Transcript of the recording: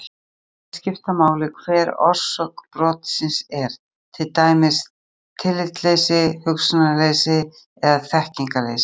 Ekki virðist skipta máli hver orsök brotsins er, til dæmis tillitsleysi, hugsunarleysi eða þekkingarleysi.